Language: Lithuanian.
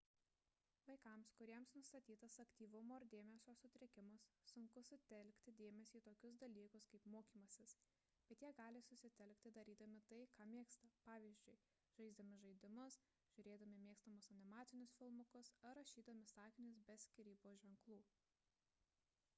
vaikams kuriems nustatytas aktyvumo ir dėmesio sutrikimas sunku sutelkti dėmesį į tokius dalykus kaip mokymasis bet jie gali susitelkti darydami tai ką mėgsta pvz. žaisdami žaidimus žiūrėdami mėgstamus animacinius filmukus ar rašydami sakinius be skyrybos ženklų